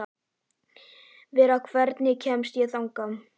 Vera, hvernig kemst ég þangað?